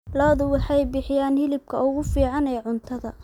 Lo'du waxay bixiyaan hilibka ugu fiican ee cuntada.